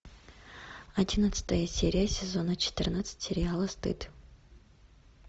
одиннадцатая серия сезона четырнадцать сериала стыд